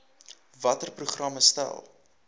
watter programme stel